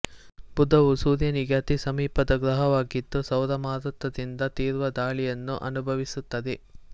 ಬುಧವು ಸೂರ್ಯನಿಗೆ ಅತಿ ಸಮೀಪದ ಗ್ರಹವಾಗಿದ್ದು ಸೌರಮಾರುತದಿಂದ ತೀವ್ರ ಧಾಳಿಯನ್ನು ಅನುಭವಿಸುತ್ತದೆ